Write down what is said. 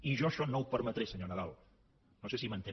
i jo això no ho permetré senyor nadal no sé si m’entén